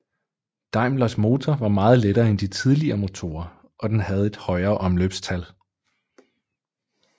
Daimlers motor var meget lettere end de tidligere motorer og den havde et højere omløbstal